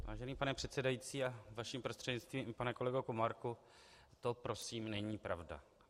Vážený pane předsedající a vaším prostřednictvím i pane kolego Komárku, to prosím není pravda.